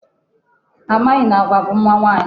Ha amaghị na agwa bụ mma nwaanyị.